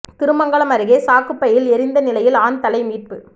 திருமங்கலம் அருகே சாக்குப் பையில் எரிந்த நிலையில் ஆண் தலை மீட்பு